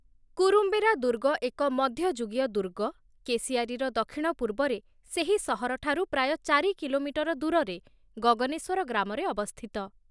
କୁରୁମ୍ବେରା ଦୁର୍ଗ ଏକ ମଧ୍ୟଯୁଗୀୟ ଦୁର୍ଗ, କେସିଆରିର ଦକ୍ଷିଣ ପୂର୍ବରେ, ସେହି ସହରଠାରୁ ପ୍ରାୟ ଚାରି କିଲୋମିଟର ଦୂରରେ, ଗଗନେଶ୍ୱର ଗ୍ରାମରେ ଅବସ୍ଥିତ ।